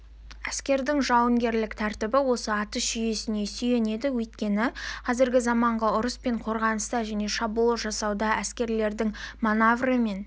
әскердің жауынгерлік тәртібі осы атыс жүйесіне сүйенеді өйткені қазіргі заманғы ұрыс пен қорғаныста және шабуыл жасауда әскерлердің маневрімен